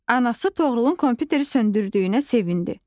Anası Toğrulun kompüteri söndürdüyünə sevindi.